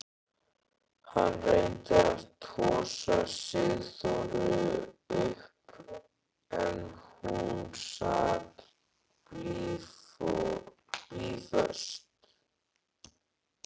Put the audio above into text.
Hann reyndi að tosa Sigþóru upp en hún sat blýföst.